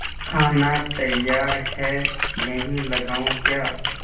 खाना तैयार है यहीं लगाऊँ क्या